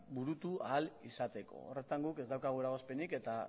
burutu ahal izateko horretan guk ez daukagu eragozpenik eta